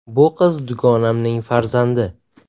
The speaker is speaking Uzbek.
Bu qiz dugonamning farzandi.